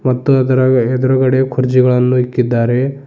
ಮತ್ತು ಅದರಾಗ ಎದುರಗಡೆ ಕುರ್ಜಿಗಳನ್ನು ಇಕ್ಕಿದ್ದಾರೆ.